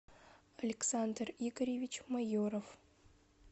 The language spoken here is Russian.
александр игоревич майоров